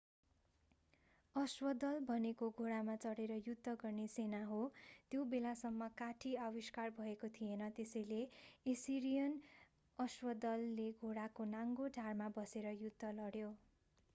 अश्वदल भनेको घोडामा चढेर युद्ध गर्ने सेना हो त्यो बेलासम्म काठी आविष्कार भएको थिएन त्यसैले एसिरियन अश्वदलले घोडाको नाङ्गो ढाडमा बसेर युद्ध लड्यो